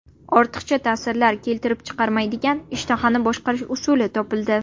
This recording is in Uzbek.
Ortiqcha ta’sirlar keltirib chiqarmaydigan ishtahani boshqarish usuli topildi.